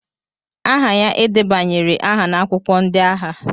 aha ya e debanyere aha n'akwụkwọ ndị agha